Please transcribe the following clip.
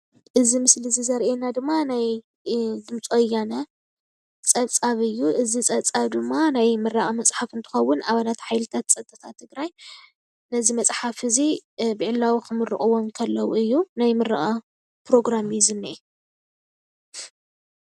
እዚ ምስሊ እዚ ዘርአየና ድማ ናይ ድምፂ ወያነ ፀብፃብ እዩ፡፡ እዚ ፀብፃብ ድማ ናይ ምምራቕ መፅሓፍ እንትከውን ኣባላት ሓይልታት ፀጥታታት ትግራይ ነዚ መፅሓፍ እዚ ብዕለው ክምርቕዎ ከለዉ እዩ፡፡ ናይ ምርቓ ፕሮግራም እዩ ዝንኤ፡፡